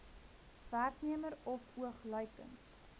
werknemer of oogluikend